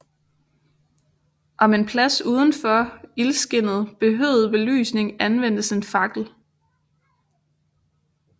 Om en plads udenfor ildskinnet behøvede belysning anvendtes en fakkel